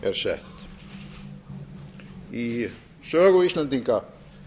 er sett í sögu íslendinga